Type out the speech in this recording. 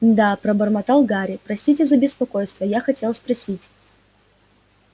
да пробормотал гарри простите за беспокойство я хотел спросить